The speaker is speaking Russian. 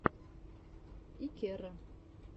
иккеро